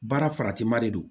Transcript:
Baara faratima de don